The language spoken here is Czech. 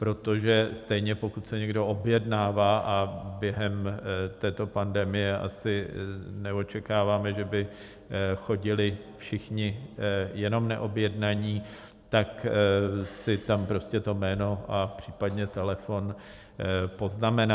Protože stejně, pokud se někdo objednává - a během této pandemie asi neočekáváme, že by chodili všichni jenom neobjednaní - tak si tam prostě to jméno a případně telefon poznamená.